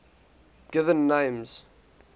given names